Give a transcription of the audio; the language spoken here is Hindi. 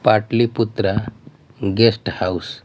पाटली पुत्र गेस्ट हाउस --